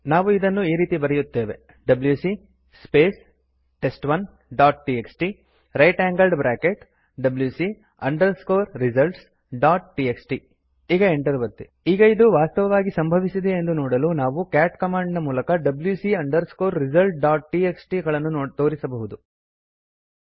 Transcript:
ನಾವು ಇದನ್ನು ಈ ರೀತಿ ಬರೆಯುತ್ತೇವೆ ಅಂದುಕೊಳ್ಳಿ ಈಗ ಎಂಟರ್ ಒತ್ತಿ ಈಗ ಇದು ವಾಸ್ತವವಾಗಿ ಸಂಭವಿಸಿದೆಯೇ ಎಂದು ನೋಡಲು ನಾವು c a ಟ್ ಕಮಾಂಡ್ ಮೂಲಕ wc results ಡಾಟ್ ಟಿಎಕ್ಸ್ಟಿ ಗಳನ್ನು ತೋರಿಸಬಹುದು